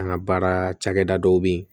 An ka baara cakɛda dɔw bɛ yen